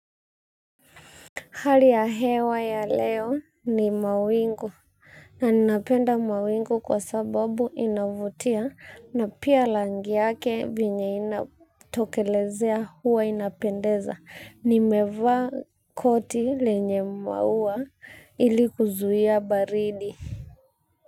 Hali ya hewa ya leo ni mawingu na ninapenda mawingu kwa sababu inavutia na pia rangi yake venye inatokelezea huwa inapendeza. Nimevaa koti lenye maua ili kuzuia baridi.